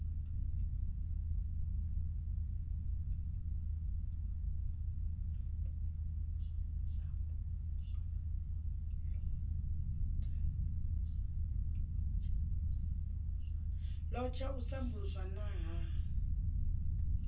lot na u sambuluswa ha